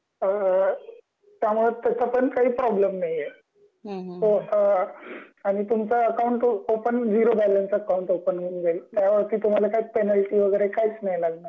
अ.. त्यामुळ तस पण काही प्रॉब्लेम नाही आहे. अ .. आणि तुमचा account open zero balance account open होऊन जाईल अ कि तुम्हाला काही पेनॉल्टी. वगैरे काहीच नाही लागणार